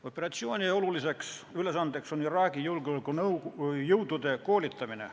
Operatsiooni oluline ülesanne on Iraagi julgeolekujõudude koolitamine.